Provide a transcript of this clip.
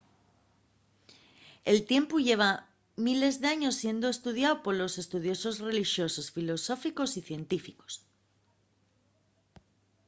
el tiempu lleva miles d’años siendo estudiáu por estudiosos relixosos filosóficos y científicos